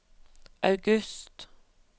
august